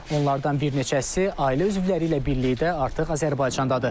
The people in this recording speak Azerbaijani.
Onlardan bir neçəsi ailə üzvləri ilə birlikdə artıq Azərbaycandadır.